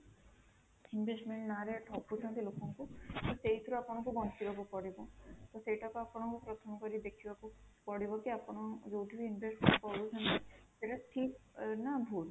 investment ନାଁ ରେ ଠକୁଛନ୍ତି ଲୋକଙ୍କୁ ତ ସେଇଥିରୁ ଆପଣଙ୍କୁ ବଞ୍ଚିବାକୁ ପଡିବ ତ ସେଇଟାକୁ ଆପଙ୍କ ପ୍ରଥମ କରି ଦେଖିବାକୁ ପଡିବ କି ଆପଣ ଯୋଉଠି ବି investment କରୁଛନ୍ତି ସେଇଟା ଠିକ ନା ଭୁଲ